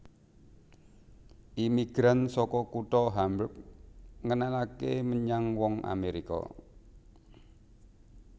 Imigran saka kutha Hamburg ngenalaké menyang wong Amèrika